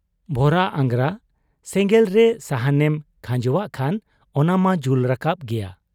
ᱵᱷᱚᱨᱟ ᱟᱝᱜᱽᱨᱟ ᱥᱮᱸᱜᱮᱞᱨᱮ ᱥᱟᱦᱟᱱᱮᱢ ᱠᱷᱟᱸᱡᱚᱣᱟᱜ ᱠᱷᱟᱱ ᱚᱱᱟᱢᱟ ᱡᱩᱞ ᱨᱟᱠᱟᱵ ᱜᱮᱭᱟ ᱾